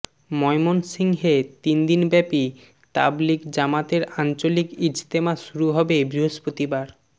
ময়মনসিংহে তিন দিনব্যাপী তাবলিগ জামাতের আঞ্চলিক ইজতেমা শুরু হবে বৃহস্পতিবার